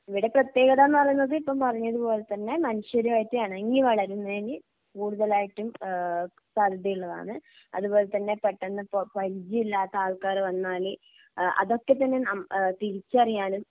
ഇവയുടെ പ്രത്യേകതാന്ന് പറയുന്നത് ഇപ്പം പറഞ്ഞതുപോലെ തന്നെ മനുഷ്യനുമായിട്ട് ഇണങ്ങി വളരുന്നതിന് കൂടുതലായിട്ടും ഏഹ് ഉള്ളതാണ് അതുപോലെതന്നെ പെട്ടെന്ന് പ പരിചയമില്ലാത്ത ആൾക്കാര് വന്നാല് ഏഹ് അതൊക്കെ തന്നെ ആം തിരിച്ചറിയാനും